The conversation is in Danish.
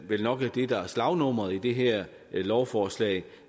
vel nok er det der er slagnummeret i det her lovforslag